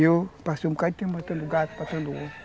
E eu passei um bocado de tempo matando gato, matando onça.